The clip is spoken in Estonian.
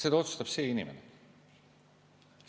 Seda ei otsusta enam selline inimene.